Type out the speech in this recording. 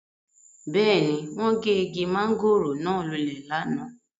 Beeni, won ge igi mangoro naa lule lana